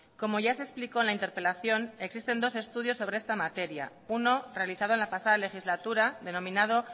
como ya se explicó en la interpelación existen dos estudios sobre esta materia uno realizado en la pasada legislatura denominado